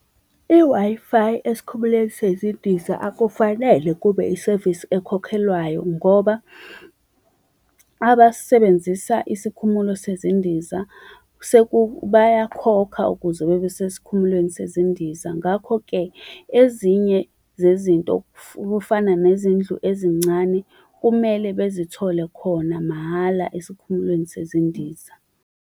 I-Wi-Fi esikhumulweni sezindiza akufanele kube isevisi ekhokhelwayo ngoba abasebenzisa isikhumulo sezindiza bayakhokha ukuze bebe sesikhumulweni sezindiza. Ngakho-ke ezinye zezinto okufana nezindlu ezincane kumele bazithole kona mahhala esikhumulweni sezindiza